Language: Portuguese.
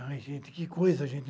Ai, gente, que coisa, gente!